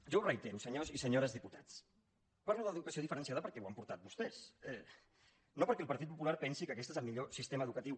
jo ho reitero senyors i senyores diputats parlo d’educació diferenciada perquè ho han portat vostès no perquè el partit popular pensi que aquest és el millor sistema educatiu